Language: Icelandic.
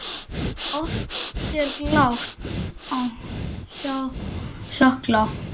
Oft er glatt á hjalla.